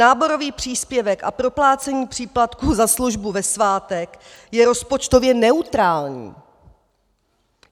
Náborový příspěvek a proplácení příplatků za službu ve svátek je rozpočtově neutrální.